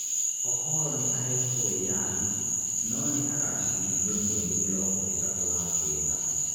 Okoro nĩ aheetwo wĩyathi no nĩ egaciirithio mweri mirongo itatu wa kenda.